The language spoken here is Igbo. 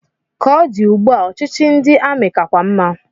Ka o di ugbu a, ọchịchị ndị amị kakwa mma.